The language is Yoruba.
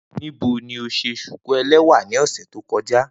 Nibo ni o ṣe shuku ẹlẹwa ni ọsẹ to kọja?